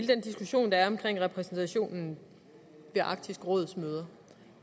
den diskussion der er om repræsentationen ved arktisk råds møder